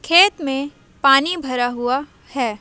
खेत में पानी भरा हुआ है।